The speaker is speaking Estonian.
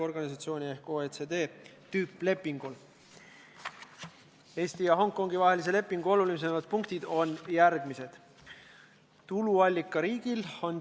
Kuid kuna komisjonis sellist ettepanekut arutelude ajal ei tehtud, siis otsustas juhatus panna saalis hääletusele Reformierakonna fraktsiooni otsuse katkestada seaduseelnõu 47 teine lugemine.